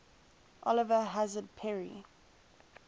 oliver hazard perry